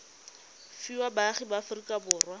fiwa baagi ba aforika borwa